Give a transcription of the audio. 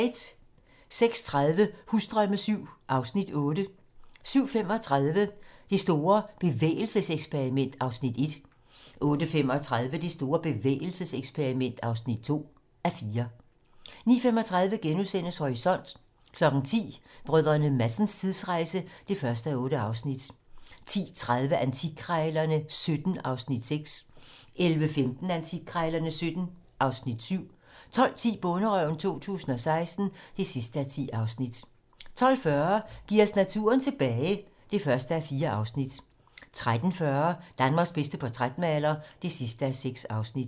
06:30: Husdrømme VII (Afs. 8) 07:35: Det store bevægelseseksperiment (1:4) 08:35: Det store bevægelseseksperiment (2:4) 09:35: Horisont * 10:00: Brdr. Madsens tidsrejse (1:8) 10:30: Antikkrejlerne XVII (Afs. 6) 11:15: Antikkrejlerne XVII (Afs. 7) 12:10: Bonderøven 2016 (10:10) 12:40: Giv os naturen tilbage (1:4) 13:40: Danmarks bedste portrætmaler (6:6)